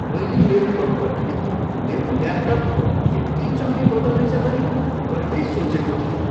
मैले मेरो कम्पनीले मेरो ल्यापटप यति चाँडै बदल्नेछ भनी कहिल्यै सोचेको थिइनँ!